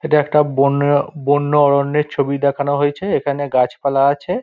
এটা একটা বন্য-বন্য অরণ্যের ছবি দেখানো হয়েছে | এখানে গাছপালা আছে |